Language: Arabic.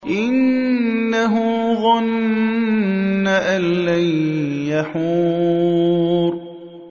إِنَّهُ ظَنَّ أَن لَّن يَحُورَ